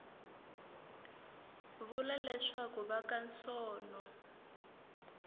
vula leswaku va ka sono